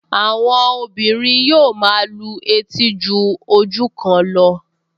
Àwọn yóò máa lu etí tó ju ọ̀kan lọ